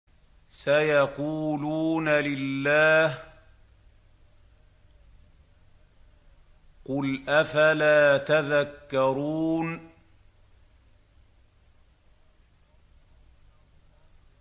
سَيَقُولُونَ لِلَّهِ ۚ قُلْ أَفَلَا تَذَكَّرُونَ